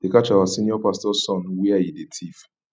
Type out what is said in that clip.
they catch our senior pastor son where he dey thief